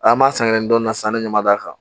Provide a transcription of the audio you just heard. An b'a san kɛ nin dɔɔnin na sanni ɲama da kan